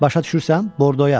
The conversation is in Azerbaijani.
Başa düşürsən, Bordoya.